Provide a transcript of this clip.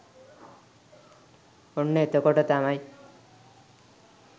ඔන්න එතකොට තමයි